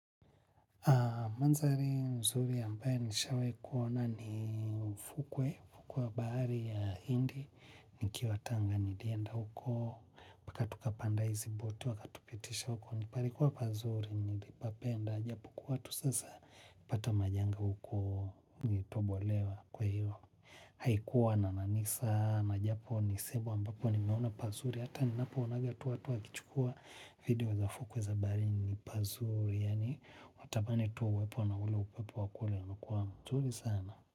Mandhari mzuri ambae nishawahi kuona ni fukwe, ufukwe wa bahari ya hindi nikiwa tanga nilienda huko mpaka tukapanda hizi boti wakatupitisha huko, palikuwa pazuri, nilipapenda, japokuwa tu sasa, nilipata majanga huko, nilitobolewa kwa hiyo, haikuwa na nanii sana japo, ni sehemu ambapo ambapo nimeona pazuri, hata ninapoonaga tu watu wakichukua video za fukwe za baharini ni pazuri, yani watamani tuwa wepo na ule upepo wa kule unakua mzuri sana.